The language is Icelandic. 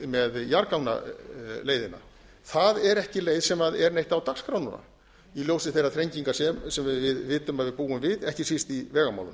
fjarskans með jarðgangaleiðina það er ekki leið sem er neitt á dagskrá núna í ljósi meiri þrenginga sem við vitum að við búum við ekki síst í vegamálum